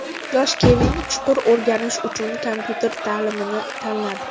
Yosh Kevin chuqur o‘rganish uchun kompyuter ta’limini tanladi.